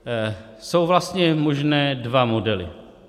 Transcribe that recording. Jsou vlastně možné dva modely.